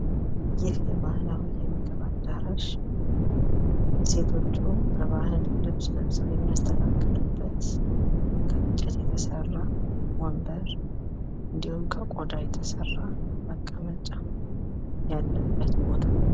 ይህ ባህላዊ የምግብ አዳራሽ ሴቶቹ የባህል ልብስ ለብሰው የሚያስተናግዱበት፣ ከእንጨት የተሰራ ወንበር እንዲሁም ከቆዳ የተሰራ መቀመጫ ያለበት ቦታ ነው።